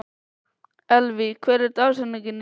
Elvý, hver er dagsetningin í dag?